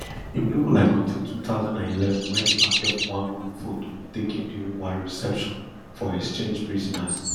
im look like until two thousand and eleven wen im appear for one group photo taken during one reception for exchanged prisoners